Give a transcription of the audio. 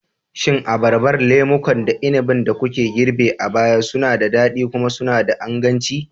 Shin Abarbar, lemukan, da inabin da kuka girbe a baya suna da daɗi kuma suna da inganci?